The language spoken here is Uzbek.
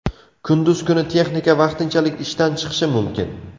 Kunduz kuni texnika vaqtinchalik ishdan chiqishi mumkin.